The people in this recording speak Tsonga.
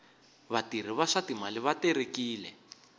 vatirhi va swa timali va terekile